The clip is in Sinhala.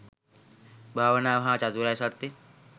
භාවනාව හා චතුරාර්ය සත්‍ය